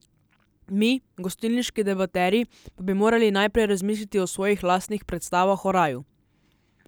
Mi, gostilniški debaterji, pa bi morali najprej razmisliti o svojih lastnih predstavah o raju.